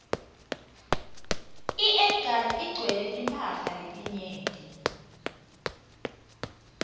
iedgas igcwaielwe timphala letinyenti